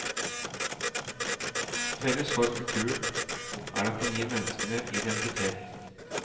Felles for kulturen er at den gir menneskene identitet.